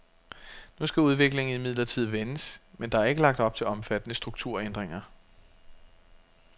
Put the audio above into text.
Nu skal udviklingen imidlertid vendes, men der er ikke lagt op til omfattende strukturændinger.